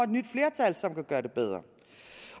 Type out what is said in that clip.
nyt flertal som kan gøre det bedre